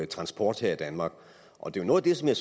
transport her i danmark og det er noget af det som jeg